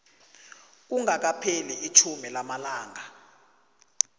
kungakapheli itjhumi lamalanga